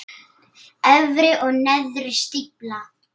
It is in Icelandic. Efri og neðri stífla.